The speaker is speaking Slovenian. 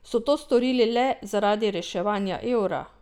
So to storili le zaradi reševanja evra?